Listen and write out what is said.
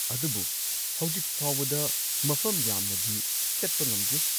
ꯑꯗꯨꯕꯨ ꯍꯧꯖꯤꯛꯐꯥꯎꯕꯗ ꯃꯐꯝ ꯌꯥꯝꯅꯗꯤ ꯆꯠꯄ ꯉꯝꯗ꯭ꯔꯤ꯫